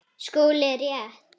SKÚLI: Rétt!